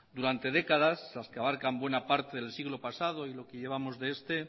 durante décadas las que abarcan buena parte del siglo pasado y lo que llevamos de este